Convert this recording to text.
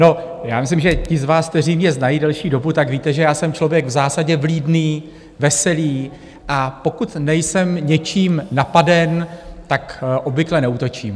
No, já myslím, že ti z vás, kteří mě znají delší dobu, tak víte, že já jsem člověk v zásadě vlídný, veselý, a pokud nejsem něčím napaden, tak obvykle neútočím.